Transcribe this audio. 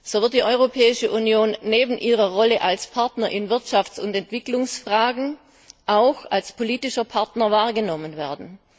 So wird die Europäische Union neben ihrer Rolle als Partner in Wirtschafts und Entwicklungsfragen auch als politischer Partner wahrgenommen werden.